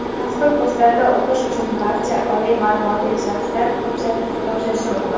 Mazkur kurslarda o‘qish uchun barcha oliy ma’lumotli shaxslar hujjat topshirishi mumkin.